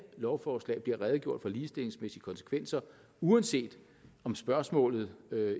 lovforslag bliver redegjort for ligestillingsmæssige konsekvenser uanset om spørgsmålet